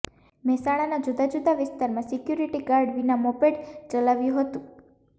મહેસાણાના જુદા જુદા વિસ્તારમાં સિક્યુરીટી ગાર્ડ વિના મોપેડ ચલાવ્યું હતુ